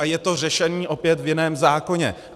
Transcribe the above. A je to řešení opět v jiném zákoně.